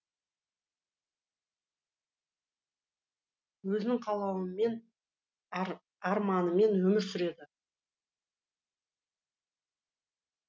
өзінің қалауымен арманымен өмір сүреді